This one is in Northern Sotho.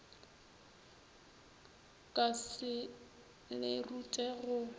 ka se le rute go